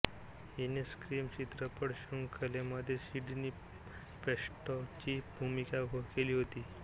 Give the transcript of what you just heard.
हिने स्क्रीम चित्रपटशृंखलेमध्ये सिडनी प्रेस्कॉटची भूमिका केली आहे